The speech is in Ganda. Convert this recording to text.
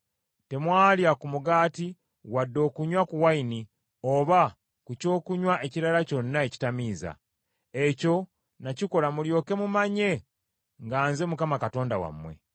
Temwalya ku mugaati wadde okunywa ku nvinnyo, oba ku kyokunywa ekirala kyonna ekitamiiza. Ekyo nakikola mulyoke mumanye nga nze Mukama Katonda wammwe.